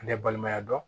Ne balimaya dɔn